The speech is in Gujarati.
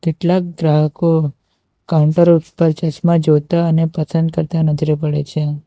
કેટલાક ગ્રાહકો કાઉન્ટર ઉપર ચશ્મા જોતાં અને પસંદ કરતા નજરે પડે છે.